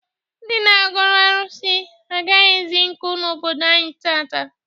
Ndị na-agọrụ arụsị agaghịzi nkụ n'obodo anyị taata.